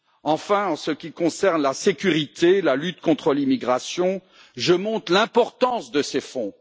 Enfin, en ce qui concerne la sécurité et la lutte contre l'immigration, je montre l'importance de ces fonds.